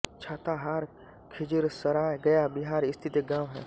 छाताहार खिज़िरसराय गया बिहार स्थित एक गाँव है